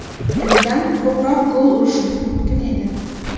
Bundan ko‘proq gol urishimiz mumkin edi.